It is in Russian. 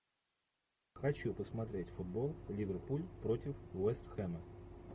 хочу посмотреть футбол ливерпуль против вест хэма